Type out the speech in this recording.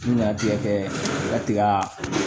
Ɲantigɛ kɛ u ka tigɛ